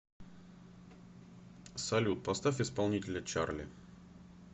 салют поставь исполнителя чарли